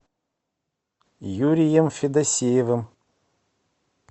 юрием федосеевым